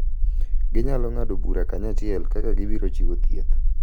Ginyalo ng’ado bura kanyachiel kaka gibiro chiwo thieth,